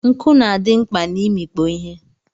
Nku na adi mkpa na imikpo ihe.